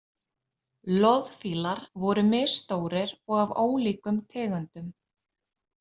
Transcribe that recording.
Loðfílar voru misstórir og af ólíkum tegundum.